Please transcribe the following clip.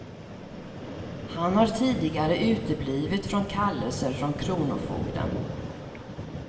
Han har tidigare uteblivit från kallelser från kronofogden.